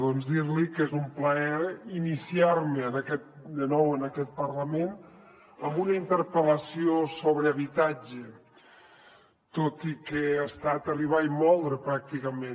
doncs dir li que és un plaer iniciar me de nou en aquest parlament amb una interpel·lació sobre habitatge tot i que ha estat arribar i moldre pràcticament